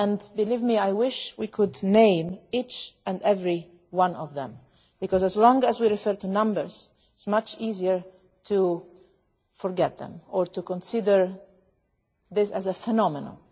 Believe me, I wish we could name each and every one of them because, as long as we refer just to numbers, it is much easier to forget them or to see this as a phenomenon.